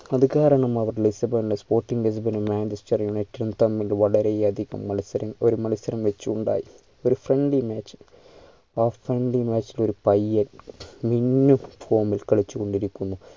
അത് കാരണം അവർ ലിസ്‌ബോണിൽ sporting manchester united ഉം തമ്മിൽ വളരെ അധികം മത്സരം ഒരു മത്സരം വെച്ചുണ്ടായി ഒരു friendlymatch ആ friendly match ഇൽ ഒരു പയ്യൻ മിന്നും form ൽ കളിച്ചു കൊണ്ടിരിക്കുന്നു